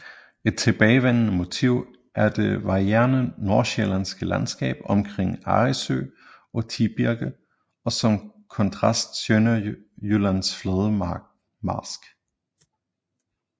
Et tilbagevendende motiv er det varierede Nordsjællandske landskab omkring Arresø og Tibirke og som kontrast Sønderjyllands flade marsk